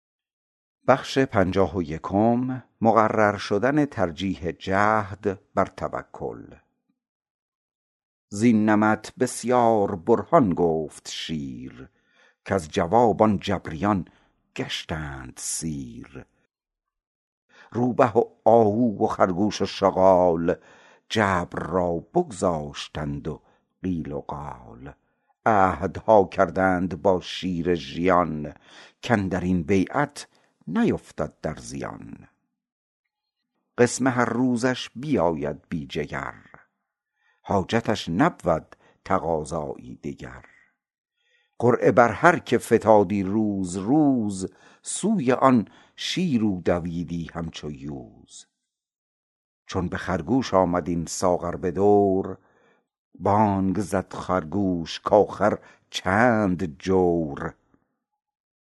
زین نمط بسیار برهان گفت شیر کز جواب آن جبریان گشتند سیر روبه و آهو و خرگوش و شغال جبر را بگذاشتند و قیل و قال عهدها کردند با شیر ژیان کاندرین بیعت نیفتد در زیان قسم هر روزش بیاید بی جگر حاجتش نبود تقاضایی دگر قرعه بر هر که فتادی روز روز سوی آن شیر او دویدی همچو یوز چون به خرگوش آمد این ساغر بدور بانگ زد خرگوش کاخر چند جور